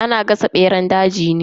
Ana gasa beran daji ne.